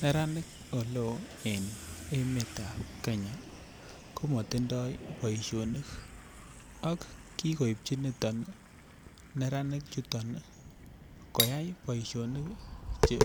Neranik oleo en emetab Kenya ko matindoi boisionik ak Che kikoipchi niton neranik koyai boisionik Che